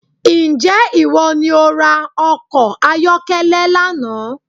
Ǹjẹ́ ìwọ ní o ra ọkọ̀ ayọ́kẹ́lẹ́ lánàá